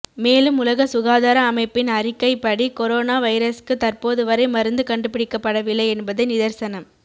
மேலும் உலக சுகாதார அமைப்பின் அறிக்கை படி கொரோனா வைரஸ்க்கு தற்போது வரை மருந்து கண்டுபிடிக்கபடவில்லை என்பதே நிதர்சனம்